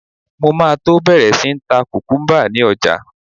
Mo máa tó bẹ̀rẹ̀ sí ń ta kùkúmbà ni ọjà.